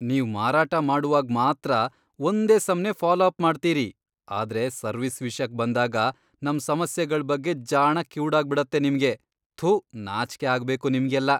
ನೀವ್ ಮಾರಾಟ ಮಾಡುವಾಗ್ ಮಾತ್ರ ಒಂದೇ ಸಮ್ನೇ ಫಾಲೋ ಅಪ್ ಮಾಡ್ತೀರಿ ಆದ್ರೆ ಸರ್ವಿಸ್ ವಿಷ್ಯಕ್ ಬಂದಾಗ, ನಮ್ ಸಮಸ್ಯೆಗಳ್ ಬಗ್ಗೆ ಜಾಣ ಕಿವುಡಾಗ್ಬಿಡತ್ತೆ ನಿಮ್ಗೆ, ಥೂ ನಾಚ್ಕೆ ಆಗ್ಬೇಕು ನಿಮ್ಗೆಲ್ಲ!